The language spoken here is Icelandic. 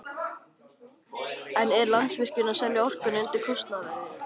En er Landsvirkjun að selja orkuna undir kostnaðarverði?